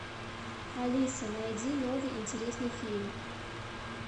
алиса найди новый интересный фильм